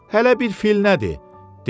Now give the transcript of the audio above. Hələ bir fil nədir?